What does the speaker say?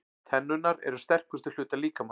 Tennurnar eru sterkustu hlutar líkamans.